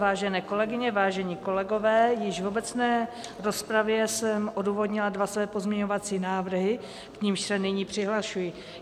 Vážené kolegyně, vážení kolegové, již v obecné rozpravě jsem odůvodnila dva své pozměňovací návrhy, k nimž se nyní přihlašuji.